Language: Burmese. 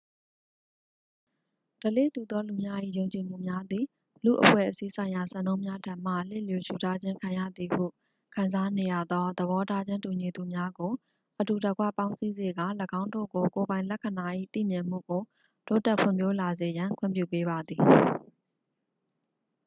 ဓလေ့တူသောလူများ၏ ယုံကြည်မှုများသည် လူ့အဖွဲ့အစည်းဆိုင်ရာစံနှုန်းများထံမှ လစ်လျူရှုထားခြင်းခံရသည်ဟုခံစားနေရသော သဘောထားချင်းတူညီသူများကို အတူတကွပေါင်းစည်းစေကာ ၎င်းတို့ကို ကိုယ်ပိုင်လက္ခဏာ၏သိမြင်မှုကို တိုးတက်ဖွံ့ဖြိုးလာစေရန် ခွင့်ပြုပေးပါသည်